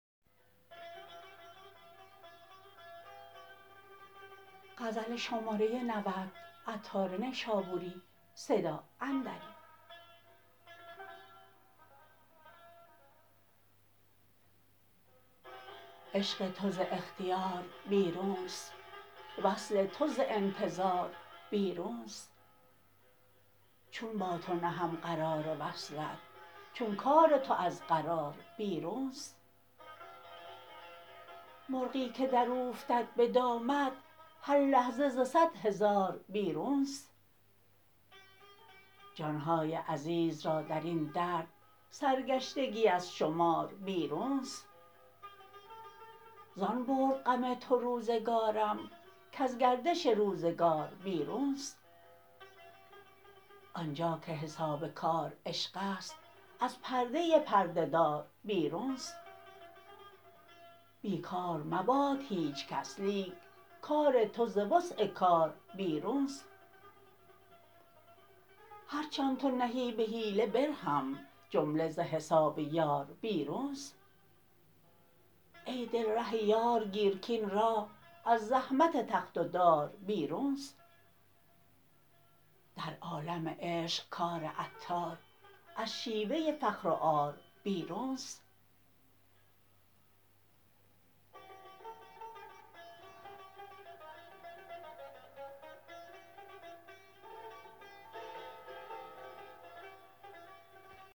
عشق تو ز اختیار بیرونست وصل تو ز انتظار بیرونست چون با تو نهم قرار وصلت چون کار تو از قرار بیرونست مرغی که دراوفتد به دامت هر لحظه ز صد هزار بیرون است جان های عزیز را درین درد سرگشتگی از شمار بیرون است زان برد غم تو روزگارم کز گردش روزگار بیرون است آنجا که حساب کار عشق است از پرده پرده دار بیرون است بیکار مباد هیچ کس لیک کار تو ز وسع کار بیرون است هرچ آن تو نهی به حیله برهم جمله ز حساب یار بیرون است ای دل ره یار گیر کین راه از زحمت تخت و دار بیرون است در عالم عشق کار عطار از شیوه فخر و عار بیرون است